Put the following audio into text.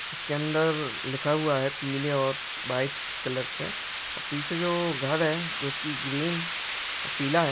उसके अंदर लिखा हुआ है पीले और व्हाइट कलर से पिछे जो घर है जोकि ग्रीन और पीला है।